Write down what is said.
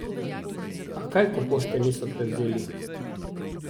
A, kaj, ko pošte niso prevzeli.